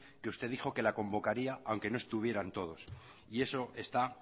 que usted dijo que la convocaría aunque no estuvieran todos y eso está